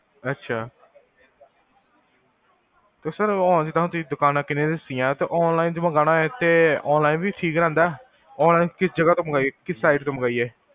ਅਛਾ , ਤੇ ਸਰ ਕੀਨੀਆ ਦੱਸਿਆ ਜੇ online ਮਾਗਵਾਣਾ ਹੋਏ ਤੇ online ਵੀ ਠੀਕ ਰਹਿੰਦਾ ਹੈ online ਕਿਸ ਜਗਾਹ ਤੋਂ ਮੰਗਵਾਈਏ ਕਿਸ site ਮੰਗਵਾਈਏ